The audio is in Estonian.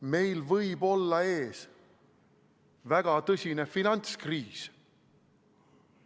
Meil võib olla ees väga tõsine finantskriis.